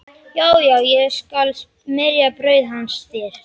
Já, já, ég skal smyrja brauð hans þér